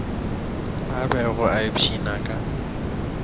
a bego a ipshina ka